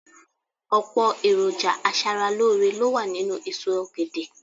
Ọ̀pọ̀ èròjà aṣaralóore ló wà nínú èso ọ̀gẹ̀dẹ̀